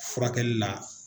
Furakɛli la